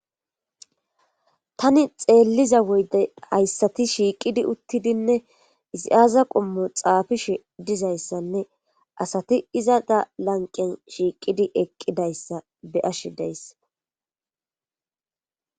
tani xeelliza woyde hayssati shiiqidi uttidinne izi aaza qummu xaafishe dizayssanne asati iza da lanqen shiiqidi eqqidayssa be ash deyss